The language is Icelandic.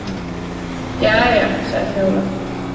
Jæja, sagði Fjóla.